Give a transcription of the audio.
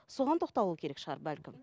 соған тоқталу керек шығар бәлкім